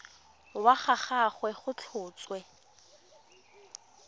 wa ga gagwe go tlhotswe